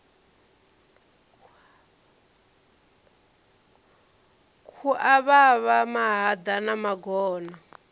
khu avhavha mahaḓa na magona